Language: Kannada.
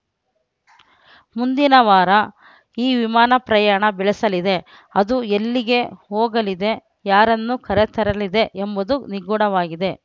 ಮುಂದಿನ ವಾರ ಈ ವಿಮಾನ ಪ್ರಯಾಣ ಬೆಳೆಸಲಿದೆ ಅದು ಎಲ್ಲಿಗೆ ಹೋಗಲಿದೆ ಯಾರನ್ನು ಕರೆತರಲಿದೆ ಎಂಬುದು ನಿಗೂಢವಾಗಿದೆ